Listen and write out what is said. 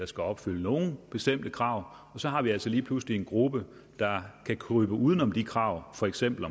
skal opfylde nogle bestemte krav og så har vi altså lige pludselig en gruppe der kan krybe uden om de krav for eksempel